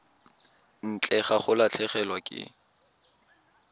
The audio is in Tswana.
ntle ga go latlhegelwa ke